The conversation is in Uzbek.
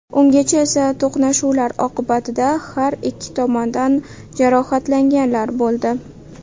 Ungacha esa to‘qnashuvlar oqibatida har ikki tomondan jarohatlanganlar bo‘ldi.